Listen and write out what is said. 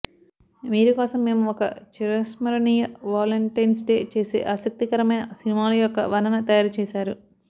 మీరు కోసం మేము ఒక చిరస్మరణీయ వాలెంటైన్స్ డే చేసే ఆసక్తికరమైన సినిమాలు యొక్క వర్ణన తయారు చేశారు